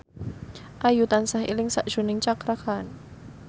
Ayu tansah eling sakjroning Cakra Khan